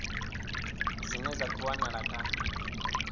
dzine dza khou wanala kha